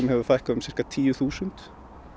hefur fækkað um sirka tíu þúsund